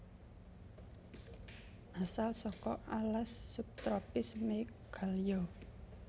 Asal saka alas subtropis Meghalya